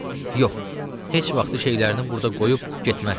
Yox, heç vaxtı şeylərini burda qoyub getmərəm.